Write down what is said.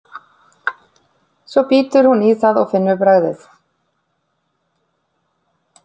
Svo bítur hún í það og finnur bragðið.